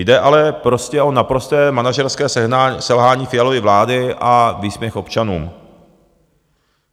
Jde ale prostě o naprosté manažerské selhání Fialovy vlády a výsměch občanům.